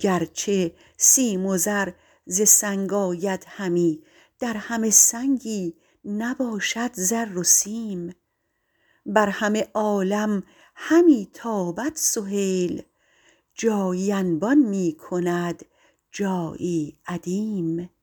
گرچه سیم و زر ز سنگ آید همی در همه سنگی نباشد زر و سیم بر همه عالم همی تابد سهیل جایی انبان میکند جایی ادیم